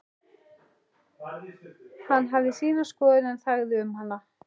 Hann hafði sína skoðun en þagði um hana.